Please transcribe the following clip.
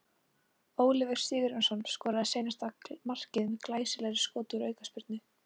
Oliver Sigurjónsson skoraði seinna markið með glæsilegu skoti úr aukaspyrnu.